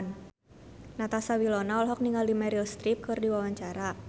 Natasha Wilona olohok ningali Meryl Streep keur diwawancara